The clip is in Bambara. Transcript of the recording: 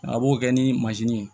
A b'o kɛ ni ye